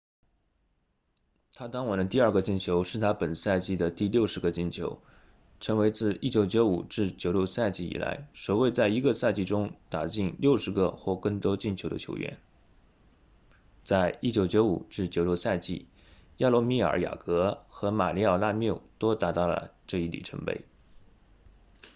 他当晚的第二个进球是他本赛季的第60个进球成为自 1995-96 赛季以来首位在一个赛季中打进60个或更多进球的球员在 1995-96 赛季亚罗米尔雅格和马里奥拉缪都达到了这一里程碑